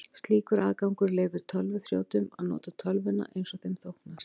Slíkur aðgangur leyfir tölvuþrjótum að nota tölvuna eins þeim þóknast.